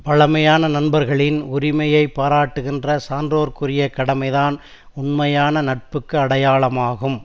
பழைமையான நண்பர்களின் உரிமையை பாராட்டுகிற சான்றோர்க்குரிய கடமைதான் உண்மையான நட்புக்கு அடையாளமாகும்